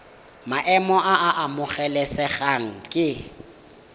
maemo a a amogelesegang ke